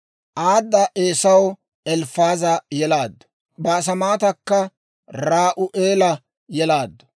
Aada Eesaw Elifaaza yelaaddu; Baasemaatakka Ra'u'eela yelaaddu;